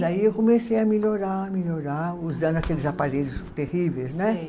Aí eu comecei a melhorar, melhorar, usando aqueles aparelhos terríveis, né? Sei